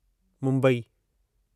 Mumbai